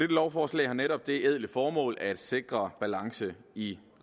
lovforslag har netop det ædle formål at sikre balance i